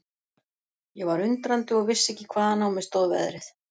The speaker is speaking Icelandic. Ég var undrandi og vissi ekki hvaðan á mig stóð veðrið.